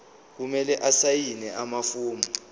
kumele asayine amafomu